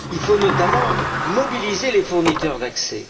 Il faut notamment mobiliser les fournisseurs d'accès.